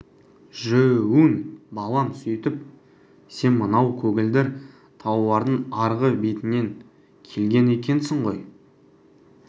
жө-өн балам сөйтіп сен мынау көгілдір таулардың арғы бетінен келген екенсің ғой